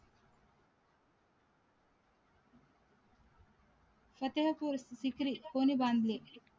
कोणी बांधले